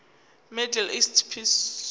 middle east peace